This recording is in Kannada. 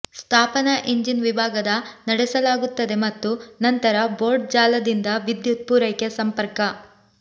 ಸ್ಥಾಪನಾ ಇಂಜಿನ್ ವಿಭಾಗದ ನಡೆಸಲಾಗುತ್ತದೆ ಮತ್ತು ನಂತರ ಬೋರ್ಡ್ ಜಾಲದಿಂದ ವಿದ್ಯುತ್ ಪೂರೈಕೆ ಸಂಪರ್ಕ